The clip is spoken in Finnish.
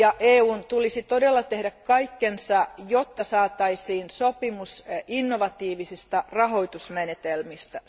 EUn tulisi todella myös tehdä kaikkensa, jotta saataisiin sopimus innovatiivisista rahoitusmenetelmistä.